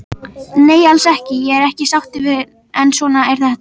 Nei alls ekki, ég er ekki sáttur en svona er þetta.